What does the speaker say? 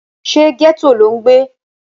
ṣé gẹ́tò lò ń gbé?